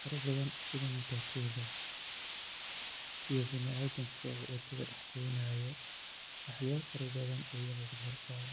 fara badan sida matatu iyo bini adamka wadada dhex goonayo iyo waxyaabo fara badan iga muuqda arkayaa.